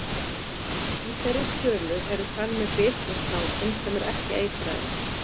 Í þeirri tölu eru talin með bit frá snákum sem ekki eru eitraðir.